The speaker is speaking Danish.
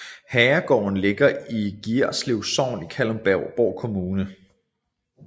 Herregården ligger i Gierslev Sogn i Kalundborg Kommune